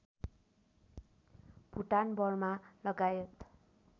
Bhutan Burma लगायत